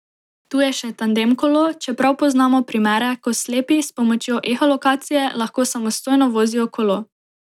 Tu je še tandem kolo, čeprav poznamo primere, ko slepi, s pomočjo eholokacije, lahko samostojno vozijo kolo.